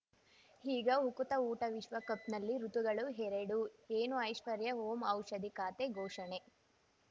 ಈಗ ಉಕುತ ಊಟ ವಿಶ್ವಕಪ್‌ನಲ್ಲಿ ಋತುಗಳು ಎರಡು ಏನು ಐಶ್ವರ್ಯಾ ಓಂ ಔಷಧಿ ಖಾತೆ ಘೋಷಣೆ